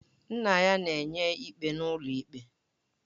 Nna ya na-enye ikpe n'ụlọ ikpe